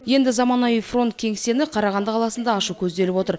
енді заманауи фронт кеңсені қарағанды қаласында ашу көзделіп отыр